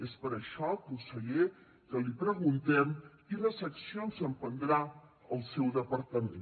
és per això conseller que li preguntem quines accions emprendrà el seu departament